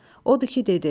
Odur ki dedi: